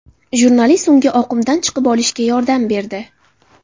Jurnalist unga oqimdan chiqib olishida yordam berdi.